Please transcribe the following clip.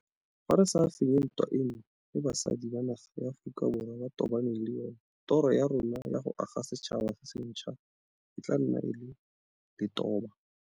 Fa re sa fenye ntwa eno e basadi ba naga ya Aforika Borwa ba tobaneng le yona, toro ya rona ya go aga setšhaba se sentšhwa e tla nna e e letobo.